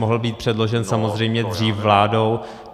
Mohl být předložen samozřejmě dřív vládou.